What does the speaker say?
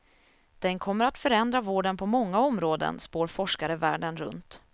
Den kommer att förändra vården på många områden, spår forskare världen runt.